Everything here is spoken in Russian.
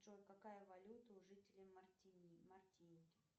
джой какая валюта у жителей мартиники